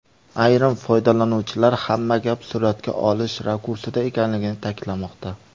Ayrim foydalanuvchilar hamma gap suratga olish rakursida ekanligini ta’kidlamoqda.